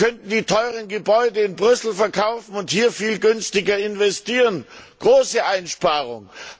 Wir könnten die teuren Gebäude in Brüssel verkaufen und hier viel günstiger investieren große Einsparungen!